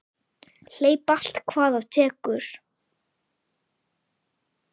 Hleyp allt hvað af tekur.